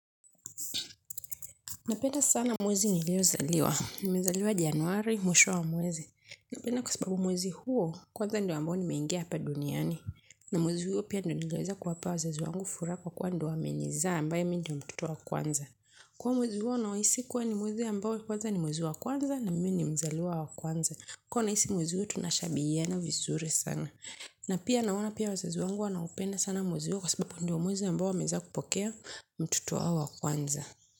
Napenda sana mwezi nilipzaliwa. Nimezaliwa Januari, mwisho wa mwezi. Napenda kwa sababu mwezi huo, kwanza ndio ambao nimeingea hapa duniani. Na mwezi huo pia ndio niliweza kuwapa wazazi wangu furaha kwa kuwa ndio wamenizaa ambayo mimi ndio mtoto wa kwanza. Kwa hiyo mwezi huo nauhisi kuwa ni mwezi ambao kwanza ni mwezi wa kwanza na mimi ni mzaliwa wa kwanza. Kwa hiyo nahisi mwezi huo tunashabiana vizuri sana na pia naona pia wazazi wangu wanaupenda sana mwezi huo kwa sababu ndio mwezi ambao wameweza kupokea mtoto wa kwanza.